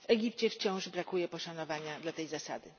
W Egipcie wciąż brakuje poszanowania dla tej zasady.